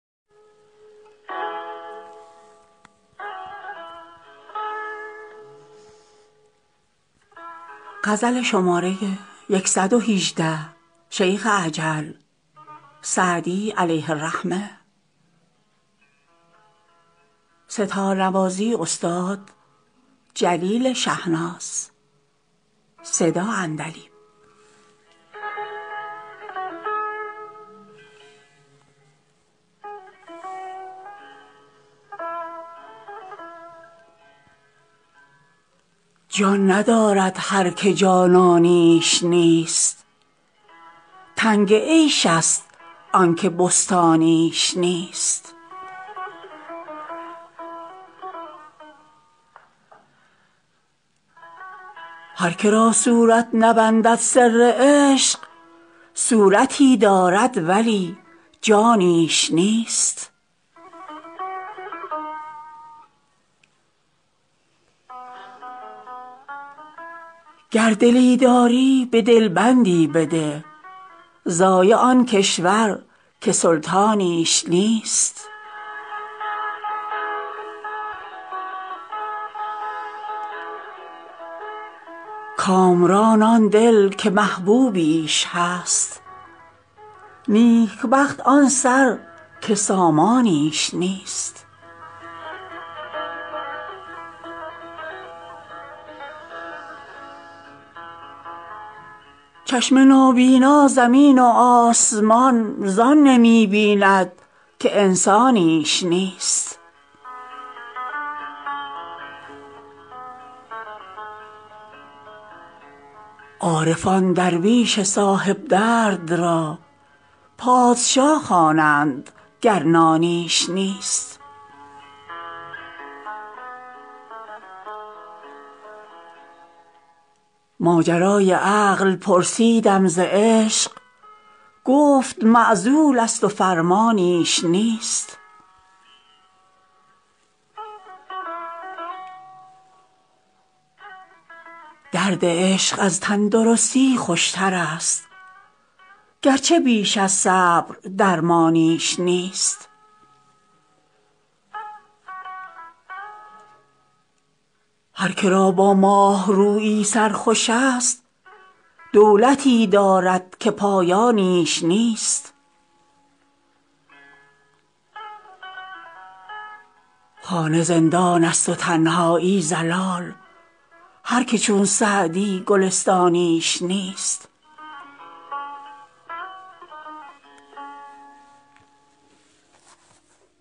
جان ندارد هر که جانانیش نیست تنگ عیش ست آن که بستانیش نیست هر که را صورت نبندد سر عشق صورتی دارد ولی جانیش نیست گر دلی داری به دل بندی بده ضایع آن کشور که سلطانیش نیست کامران آن دل که محبوبیش هست نیک بخت آن سر که سامانیش نیست چشم نابینا زمین و آسمان زان نمی بیند که انسانیش نیست عارفان درویش صاحب درد را پادشا خوانند گر نانیش نیست ماجرای عقل پرسیدم ز عشق گفت معزول ست و فرمانیش نیست درد عشق از تن درستی خوش ترست گرچه بیش از صبر درمانیش نیست هر که را با ماه رویی سر خوش ست دولتی دارد که پایانیش نیست خانه زندان ست و تنهایی ضلال هر که چون سعدی گلستانیش نیست